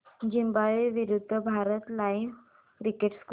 Zimbabwe विरूद्ध Bharat live cricket score